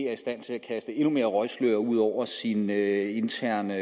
er i stand til at kaste endnu mere røgslør ud over sine interne